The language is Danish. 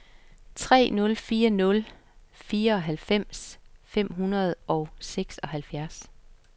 tre nul fire nul fireoghalvfems fem hundrede og seksoghalvfjerds